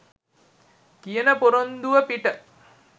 කියන පොරොන්දුව පිට.